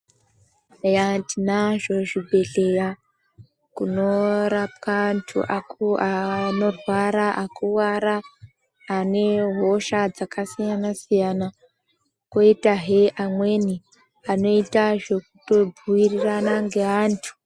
Yaaa tinazvo zvibhedhleya kunorapwe anhu akuwaa aaanorwara akuwara ane hosha dzakasiyana siyana kwoítahe amweni anoita zvekutobhuirirana ngeantu.